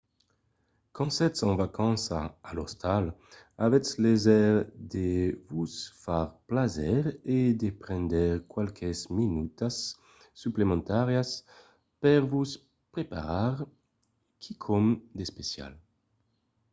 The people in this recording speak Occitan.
quand sètz en vacanças a l'ostal avètz léser de vos far plaser e de prendre qualques minutas suplementàrias per vos preparar quicòm d’especial